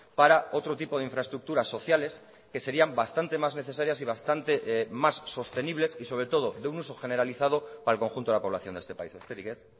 para otro tipo de infraestructuras sociales que serían bastante más necesarias y bastante más sostenibles y sobre todo de un uso generalizado para el conjunto de la población de este país besterik ez